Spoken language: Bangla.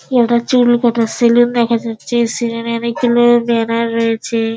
এটা চুল কাটা সেলুন দেখা যাচ্ছে সেলুন অনেক গুলো ব্যানার রয়েছে।